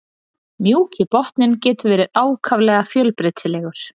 Mjúki botninn getur verið ákaflega fjölbreytilegur.